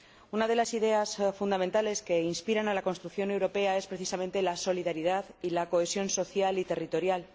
Una de las ideas fundamentales que inspira a la construcción europea es precisamente la solidaridad y la cohesión social y territorial.